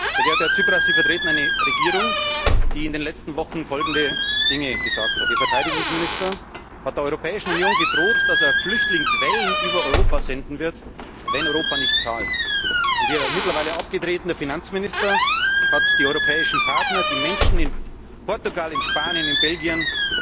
Sehr geehrter Herr Tsipras, Sie vertreten eine Regierung, die in den letzten Wochen folgende Dinge gesagt hat Ihr Verteidigungsminister hat der Europäischen Union gedroht, dass er Flüchtlingswellen über Europa senden wird, wenn Europa nicht zahlt. Und Ihr mittlerweile abgetretener Finanzminister hat die europäischen Partner die Menschen in Portugal, in Spanien, in Belgien